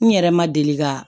N yɛrɛ ma deli ka